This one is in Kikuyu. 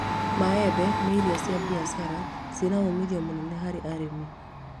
Maembe nĩ irio cia mbiacara ciĩna ũmithio mũnene harĩ arĩmi